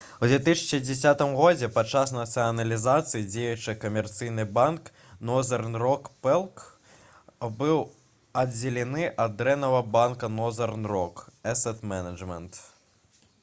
у 2010 годзе падчас нацыяналізацыі дзеючы камерцыйны банк «нозэрн рок плк» быў аддзелены ад «дрэннага банка» «нозэрн рок эсет менеджмент»